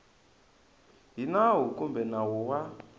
hi nawu kumbe nawu wa